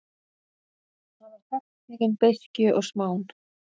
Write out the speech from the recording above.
Hann var gagntekinn beiskju og smán.